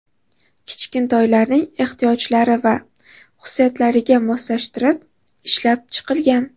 Kichkintoylarning ehtiyojlari va xususiyatlariga moslashtirib ishlab chiqilgan.